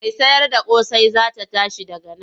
Mai sayarda ƙosai za ta tashi daga nan.